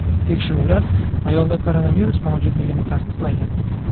Tekshiruvlar ayolda koronavirus mavjudligini tasdiqlagan.